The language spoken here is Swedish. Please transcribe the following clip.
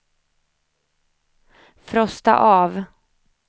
frosta av